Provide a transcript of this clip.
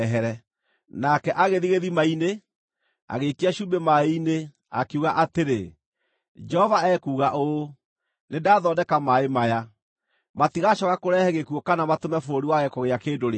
Nake agĩthiĩ gĩthima-inĩ, agĩikia cumbĩ maaĩ-inĩ, akiuga atĩrĩ, “Jehova ekuuga ũũ, ‘Nĩndathondeka maaĩ maya. Matigacooka kũrehe gĩkuũ kana matũme bũrũri wage kũgĩa kĩndũ rĩngĩ.’ ”